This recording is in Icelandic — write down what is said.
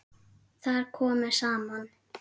Þar komu saman